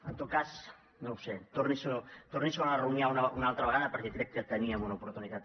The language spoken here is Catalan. en tot cas no ho sé torni s’ho a rumiar una altra vegada perquè crec que teníem una oportunitat